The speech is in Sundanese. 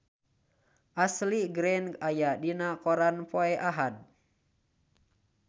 Ashley Greene aya dina koran poe Ahad